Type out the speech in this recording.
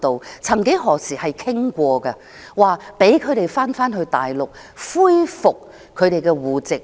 我們曾幾何時也討論過讓他們回去大陸，恢復其戶籍。